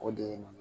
O de ye